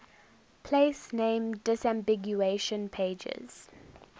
place name disambiguation pages